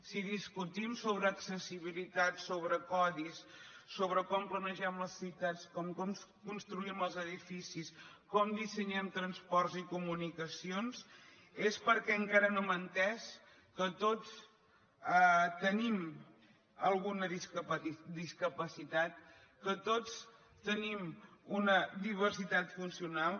si discutim sobre accessibilitat sobre codis sobre com planegem les ciutats com construïm els edifi cis com dissenyem transports i comunicacions és perquè encara no hem entès que tots tenim alguna discapacitat que tots tenim una diversitat funcional